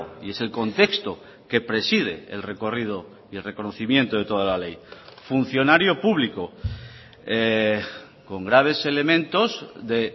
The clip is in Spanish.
y es el contexto que preside el recorrido y el reconocimiento de toda la ley funcionario público con graves elementos de